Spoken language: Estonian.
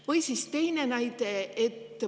Või siis teine näide.